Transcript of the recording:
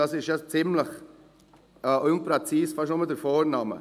«unpräzis» ist nur der Vorname.